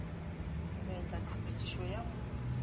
go betla tshepedišo ya go